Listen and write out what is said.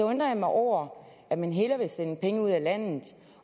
undrer jeg mig over at man hellere vil sende penge ud af landet